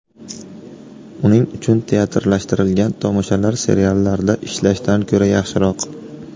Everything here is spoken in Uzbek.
Uning uchun teatrlashtirilgan tomoshalar seriallarda ishlashdan ko‘ra yaxshiroq.